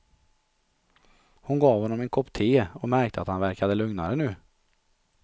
Hon gav honom en kopp te och märkte att han verkade lugnare nu.